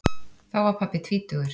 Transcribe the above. Þá var pabbi tvítugur.